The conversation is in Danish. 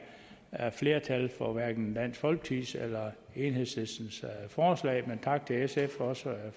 er flertal for hverken dansk folkepartis eller enhedslistens forslag men tak til sf og også